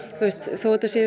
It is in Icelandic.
þó að þetta sé